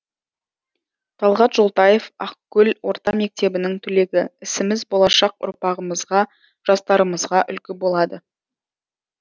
талғат жолтаев ақкөл орта мектебінің түлегі ісіміз болашақ ұрпағымызға жастарымызға үлгі болады